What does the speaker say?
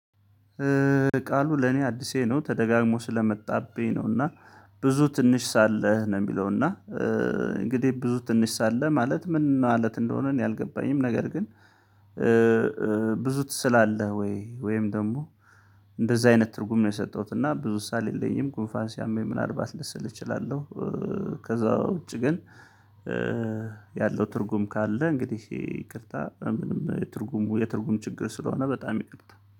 ቃሉ ለኔ አዲሴ ነው ተደጋግሞ ስለመጣብኝ ነው እና ብዙ ትንሽ ሳለህ ነው። የሚለው እና እንግዲህ ብዙ ትንሽ ሳለህ ማለት ምን ማለት እንደሆነ? እኔ አልገባኝም። ነገር ግን ብዙ ትስላለህ? ወይ ወይም ደግሞ እንደዛ አይነት ትርጉም ነው የሰጠሁት። እና ብዙ ሳል የለኝም ጉንፋን ሲያመኝ ምናልባት ልስል እችላለሁ። ከዛ ውጪ ግን ያለው ትርጉም ካለ እንግዲህ ይቅርታ ምንም የትርጉሙ የትርጉም ችግር ስለሆነ በጣም ይቅርታ